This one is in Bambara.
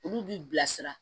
Olu b'i bilasira